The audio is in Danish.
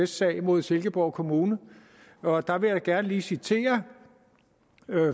sag mod silkeborg kommune og der vil jeg gerne lige citere